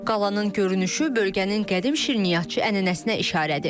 Qalanın görünüşü bölgənin qədim şirniyyatçı ənənəsinə işarədir.